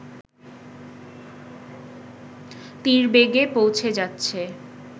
তীরবেগে পৌঁছে যাচ্ছে